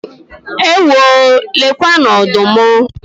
Ewoo! Lekwanụ ọdụm!